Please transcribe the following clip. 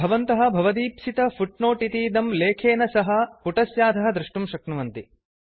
भवन्तः भवदीप्सित फुट्नोट् इतीदं लेखेन सह पुटस्याधः दृष्टुं शक्नुवन्ति